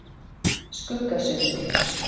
Skuggasundi